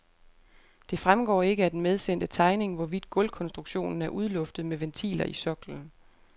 Det fremgår ikke af den medsendte tegning, hvorvidt gulvkonstruktionen er udluftet med ventiler i soklen.